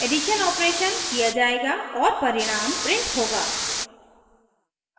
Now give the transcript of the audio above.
addition operation किया जायेगा और परिणाम प्रिंट होगा